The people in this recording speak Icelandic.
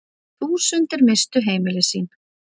Þúsundir misstu heimili sín.